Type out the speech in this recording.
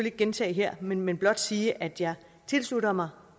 ikke gentage her men men blot sige at jeg tilslutter mig